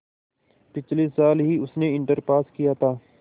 पिछले साल ही उसने इंटर पास किया था